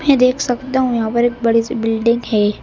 मैं देख सकता हूं यहां पर एक बड़ी सी बिल्डिंग है।